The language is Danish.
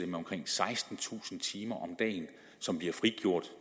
med omkring sekstentusind timer om dagen som bliver frigjort